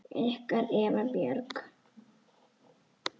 Ykkar Eva Björk.